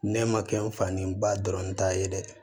Ne ma kɛ n fa ni n ba dɔrɔn ta ye dɛ